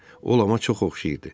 O Lama çox oxşayırdı.